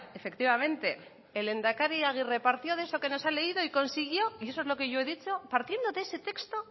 efectivamente el lehendakari agirre partió de eso que nos ha leído y consiguió y eso es lo que yo he dicho partiendo de ese texto